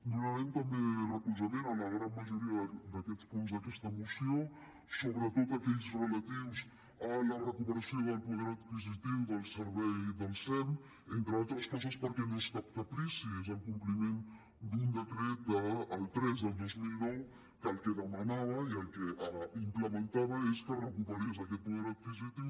donarem també recolzament a la gran majoria d’aquests punts d’aquesta moció sobretot a aquells relatius a la recuperació del poder adquisitiu del sem entre altres coses perquè no és cap caprici és el compliment d’un decret el tres del dos mil nou que el que demanava i el que implementava és que es recuperés aquest poder adquisitiu